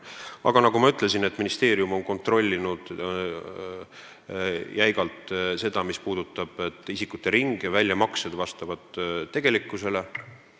Aga nagu ma ütlesin, ministeerium on jäigalt kontrollinud, kas isikute ring ja väljamaksed vastavad tegelikkusele.